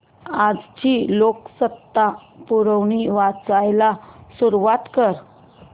आजची लोकसत्ता पुरवणी वाचायला सुरुवात कर